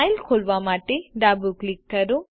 file ખોલવા માટેડાબુ click કરો